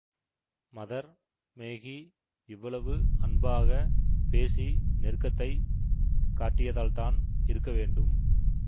mother Maggie இவ்வளவு அன்பாகப் பேசி நெருக்கத்தைக் காட்டியதால்தான் இருக்க வேண்டும்